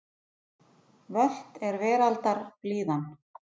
Völt er veraldar blíðan.